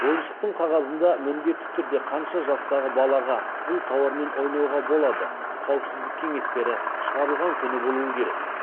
ойыншықтың қағазында міндетті түрде қанша жастағы балаға бұл тауармен ойнауға болады қауіпсіздік кеңестері шығарылған күні болуы керек